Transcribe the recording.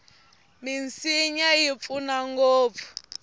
minsinya yi pfuna ngopfu